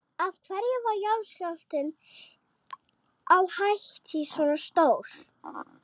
Af hverju varð jarðskjálftinn á Haítí svona stór?